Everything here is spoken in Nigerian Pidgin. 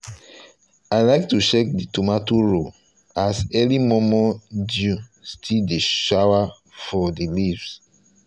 i like to dey check the tomato row as early momo dew still dey shower for the leaves